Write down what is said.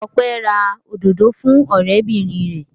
Ọpẹ́ ra òdòdó fún ọ̀rẹ́bìnrin rẹ̀.